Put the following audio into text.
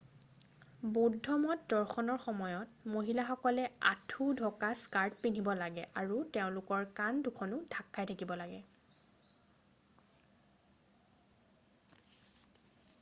বৌদ্ধমঠ দৰ্শনৰ সময়ত মহিলাসকলে আঁঠু ঢকা স্কাৰ্ট পিন্ধিব লাগে আৰু তেওঁলোকৰ কান্ধ দুখনো ঢাক খাই থাকে